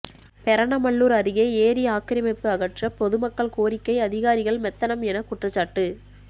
பெரணமல்லூர் அருகே ஏரி ஆக்கிரமிப்பு அகற்ற பொதுமக்கள் கோரிக்கை அதிகாரிகள் மெத்தனம் என குற்றச்சாட்டு